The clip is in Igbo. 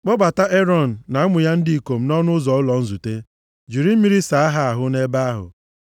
“Kpọbata Erọn na ụmụ ya ndị ikom nʼọnụ ụzọ ụlọ nzute. Jiri mmiri saa ha ahụ nʼebe ahụ.